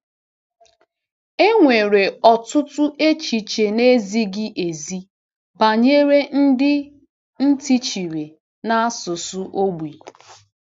E nwere ọtụtụ echiche na-ezighi ezi banyere ndị ntị chiri na asụsụ ogbi.